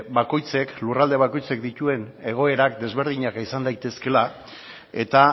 lurralde bakoitzak dituen egoerak desberdinak izan daitezkela eta